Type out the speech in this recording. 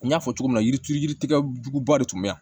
N y'a fɔ cogo min na yiri turu yiritigɛ jugu ba de tun bɛ yan